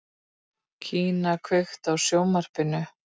Kía, kveiktu á sjónvarpinu.